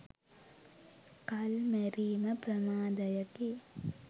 කල් මැරීම ප්‍රමාදයකි